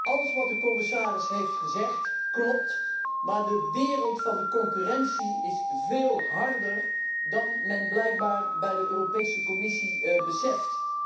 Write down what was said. Alles wat de commissaris heeft gezegd klopt, maar de wereld van de concurrentie is veel harder dan men blijkbaar bij de Europese Commissie beseft.